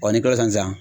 n'i kilala san